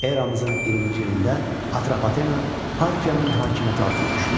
Eramızın 20-ci ilində Atropatena Parfiyanın hakimiyyəti altına düşdü.